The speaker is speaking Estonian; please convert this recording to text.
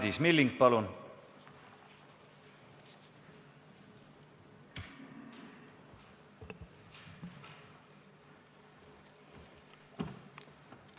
Madis Milling, palun!